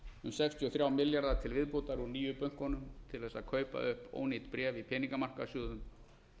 um sextíu og þrjá milljarða til viðbótar úr nýju bönkunum til að kaupa upp ónýt bréf í peningamarkaðssjóðum